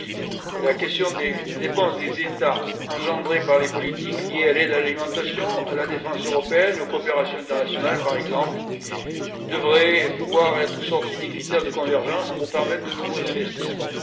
Premièrement, la question des dépenses des États, engendrées par les politiques liées à l'aide à l'alimentation, à la défense européenne et aux coopérations internationales, par exemple, devrait pouvoir être sortie des critères de convergence pour permettre de nouveaux investissements.